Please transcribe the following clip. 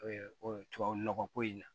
tubabu nɔgɔ ko in na